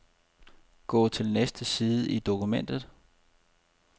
Gå til næste side i dokumentet.